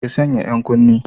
Ki sanya yan kunne!